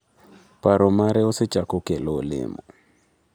Paro mare osechako kelo olemo.